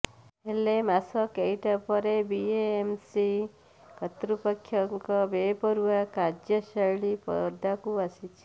ହେଲେ ମାସ କେଇଟା ପରେ ବିଏମ୍ସି କର୍ତ୍ତୃପକ୍ଷଙ୍କ ବେପରୁଆ କାର୍ୟ୍ୟଶ୘ଳୀ ପଦାକୁ ଆସିଛି